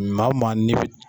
Maa o maa n'i bi